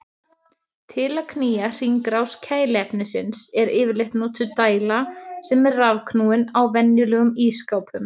Til að knýja hringrás kæliefnisins er yfirleitt notuð dæla sem er rafknúin á venjulegum ísskápum.